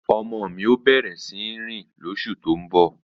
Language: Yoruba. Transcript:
Ọmọ mi ó bẹ̀rẹ̀ síní rìn lóṣù tó ń bọ̀